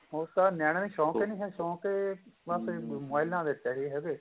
ਉਹ ਤਾਂ ਨਿਆਣੇ ਦੇ ਸ਼ੋਂਕ ਈ ਨਹੀਂ ਏ ਕਿਉਂਕਿ ਮੋਬਾਇਲਾ